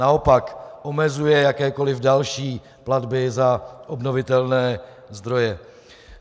Naopak, omezuje jakékoliv další platby za obnovitelné zdroje.